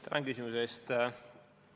Tänan küsimuse eest!